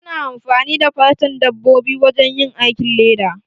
Ana amfani da fatan dabbobi wajen yin aikin leda.